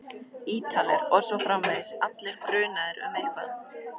Ítalir. og svo framvegis, allir grunaðir um eitthvað.